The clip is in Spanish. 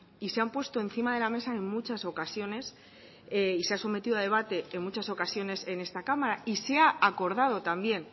y se han puesto encima de la mesa en muchas ocasiones y se ha sometido a debate en muchas ocasiones en esta cámara y se ha acordado también